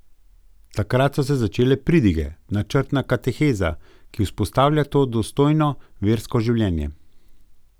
Takrat so se začele pridige, načrtna kateheza, ki vzpostavlja to dostojno versko življenje.